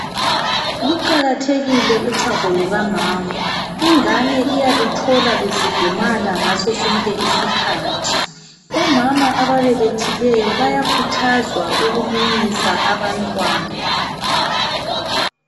Luqakathekile uchago lukamama. Ingane iyaluthola lufudumala ngaso sonke isikhathi. Omama ababelethileyo, bayakhuthazwa ukumunyisa abantwana.